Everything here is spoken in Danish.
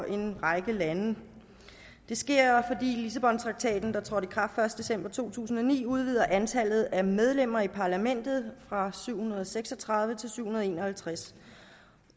en række lande det sker fordi lissabontraktaten der trådte i kraft den første december to tusind og ni udvider antallet af medlemmer af europa parlamentet fra syv hundrede og seks og tredive til syv hundrede og en og halvtreds